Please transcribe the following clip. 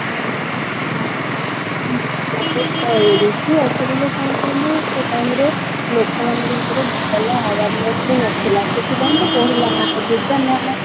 actually ରେ କଣ କହିଲୁ ସେ time ରେ ଲୋକ ମାନଙ୍କ ଭିତରେ ଭଲ awareness ହିଁ ନଥିଲା ସେଥିପାଇଁ ତ ବଢ଼ିଲା ନା COVID ଟା